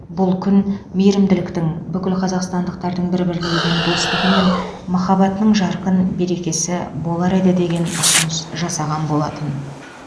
бұл күн мейірімділіктің бүкіл қазақстандықтардың бір біріне деген достығы мен махаббатының жарқын берекесі бола алар еді деген ұсыныс жасаған болатын